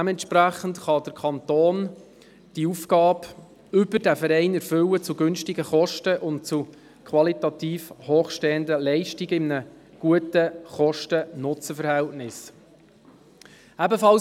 Dementsprechend kann der Kanton diese Aufgabe über diesen Verein zu günstigen Kosten und mit qualitativ hochstehenden Leistungen in einem guten KostenNutzen-Verhältnis erfüllen.